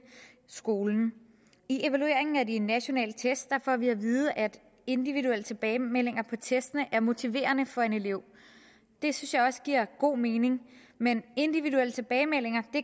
skolen i evalueringen af de nationale test får vi at vide at individuelle tilbagemeldinger på testene er motiverende for en elev det synes jeg også giver god mening men individuelle tilbagemeldinger